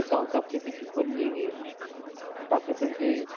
South आफ्रिकेची पण league आहे. पाकिस्तानची